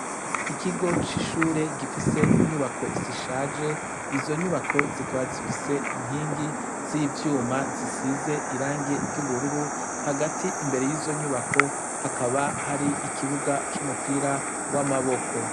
Ikigo c'ishuri gifise inyubako zishaje izo nyubako zikaba zifise inkingi z'ivyuma zisize irangi ry'ubururu hagati imbere yizo nyubako hakaba hari ikibuga c'umupira w'amaboko.